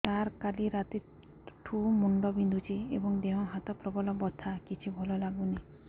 ସାର କାଲି ରାତିଠୁ ମୁଣ୍ଡ ବିନ୍ଧୁଛି ଏବଂ ଦେହ ହାତ ପ୍ରବଳ ବଥା କିଛି ଭଲ ଲାଗୁନି